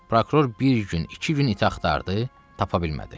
Prokuror bir gün, iki gün iti axtardı, tapa bilmədi.